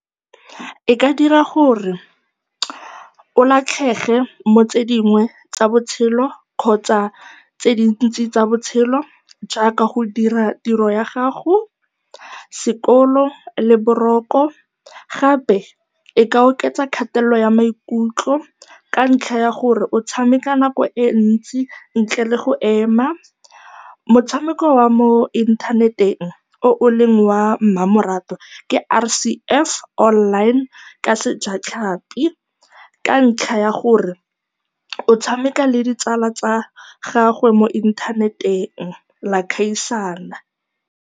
E ka dira gore o latlhege mo go tse dingwe tsa botshelo kgotsa tse dintsi tsa botshelo jaaka go dira tiro ya gago, sekolo le boroko. Gape e ka oketsa kgatelelo ya maikutlo ka ntlha ya gore o tshameka nako e ntsi ntle le go ema. Motshameko wa mo inthaneteng o eleng wa mmamoratwa ke R_C_S online ka sejatlhapi, ka ntlha ya gore o tshameka le ditsala tsa gago mo inthaneteng, le a gaisana.